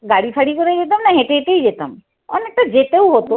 গাড়ি ফাড়ি করে যেতাম না হেঁটে হেঁটেই যেতাম। অনেকটা যেতেও হতো।